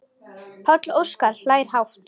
Páll Óskar hlær hátt.